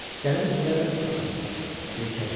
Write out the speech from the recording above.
Gəlin elə bil ağac idi, heykəl idi.